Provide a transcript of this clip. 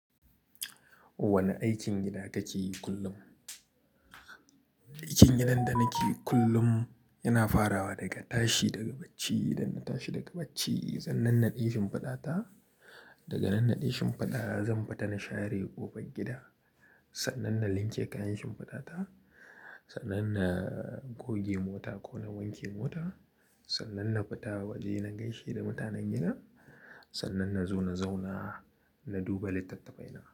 Wane aikin gida kake yi kullum? Aikin gidan da nake yi kullum yana farawa daga tashi daga bacci, idan na tashi daga bacci sannan naɗe shimfiɗata, daga nan naɗe shimfiɗata zan fita na share ƙofar gida, sannan na wanke kayan shimfiɗata, sannan na goge mota ko na wanke mota, sannan na fita waje na gaishe da mutanen gida, sannan na zo na zauna na duba littattafai na.